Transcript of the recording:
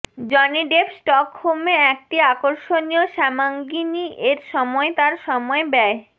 Johnny Depp স্টকহোমে একটি আকর্ষণীয় শ্যামাঙ্গিণী এর সময় তার সময় ব্যয়